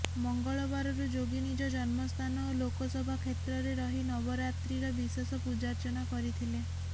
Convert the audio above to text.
ମଙ୍ଗଳବାରରୁ ଯୋଗୀ ନିଜ ଜନ୍ମସ୍ଥାନ ଓ ଲୋକସଭା କ୍ଷେତ୍ରରେ ରହି ନବରାତ୍ରିର ବିଶେଷ ପୂଜାର୍ଚ୍ଚନା କରିଥିଲେ